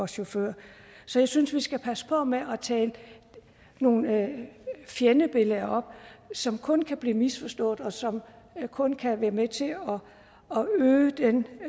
chauffør så jeg synes vi skal passe på med at tale nogle fjendebilleder op som kun kan blive misforstået og som kun kan være med til